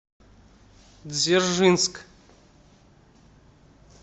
дзержинск